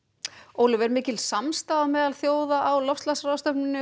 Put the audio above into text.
Ólöf er mikil samstaða meðal þjóða á loftslagsráðstefnunni